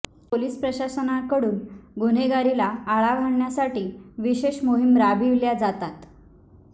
police प्रशासनाकडून गुन्हेगारीला आळा घालण्यासाठी विशेष मोहीम राबविल्या जातात